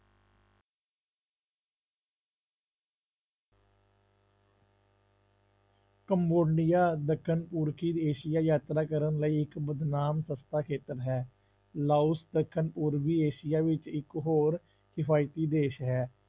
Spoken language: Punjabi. ਕੰਬੋਡੀਆ ਦੱਖਣ ਪੁਰਖੀ ਦੇਸ ਜਾਂ ਯਾਤਰਾ ਕਰਨ ਲਈ ਇੱਕ ਬਦਨਾਮ ਸਸਤਾ ਖੇਤਰ ਹੈ, ਲਾਓਸ ਦੱਖਣ ਪੂਰਬੀ ਏਸੀਆ ਵਿੱਚ ਇੱਕ ਹੋਰ ਕਿਫ਼ਾਇਤੀ ਦੇਸ ਹੈ,